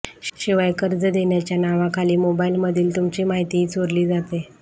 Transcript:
शिवाय कर्ज देण्याच्या नावाखाली मोबाईलमधील तुमची माहितीही चोरली जाते